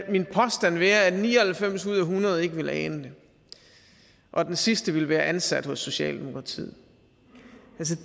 min påstand være at ni og halvfems ud af hundrede ikke ville ane det og den sidste ville være ansat hos socialdemokratiet